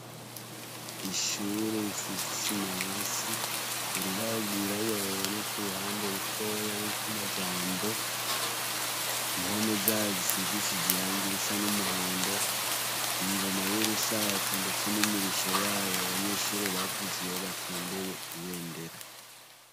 Ishure isize isima hasi, urubaho rwirabura ruboneka uruhande rutoyi ruriko amajambo, impome zayo zisigishije irangi risa n'umuhondo, ingoma y'urusato ndetse n'imirisho yayo abanyeshure bavuza iyo batondeye ibendera.